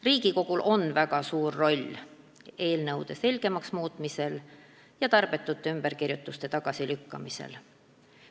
Riigikogul on väga suur roll eelnõude selgemaks muutmisel ja tarbetute ümberkirjutuste tagasilükkamisel.